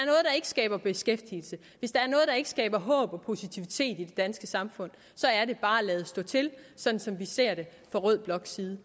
ikke skaber beskæftigelse hvis der er noget der ikke skaber håb og positivitet i det danske samfund så er det bare at lade stå til sådan som vi ser det fra rød bloks side